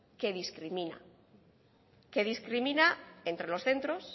que discrimina entre los centros